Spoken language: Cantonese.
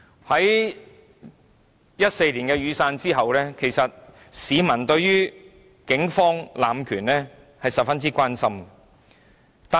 在2014年的雨傘運動後，市民十分關心警方濫權的問題。